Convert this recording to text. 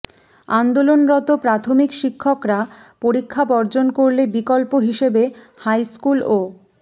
আন্দোলনরত প্রাথমিক শিক্ষকরা পরীক্ষা বর্জন করলে বিকল্প হিসেবে হাইস্কুল ও